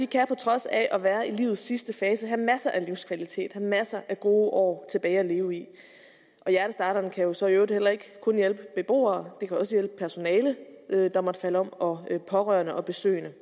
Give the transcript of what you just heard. kan på trods af at være i livets sidste fase have masser af livskvalitet have masser af gode år tilbage at leve i og hjertestarterne kan så i øvrigt heller ikke kun hjælpe de beboere de kan også hjælpe personalet der måtte falde om og pårørende og besøgende